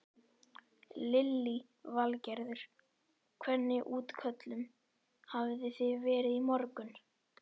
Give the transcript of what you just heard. Lillý Valgerður: Hvernig útköllum hafi þið verið í morgun?